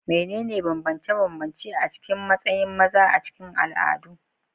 Menene bambance-bambance a cikin matsayin maza a cikin al'adu?